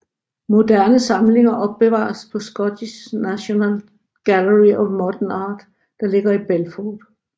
Moderne samlinger opbevares på Scottish National Gallery of Modern Art der ligger på Belford